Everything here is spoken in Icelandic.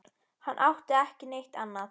Hann átti þá ekki við neitt annað.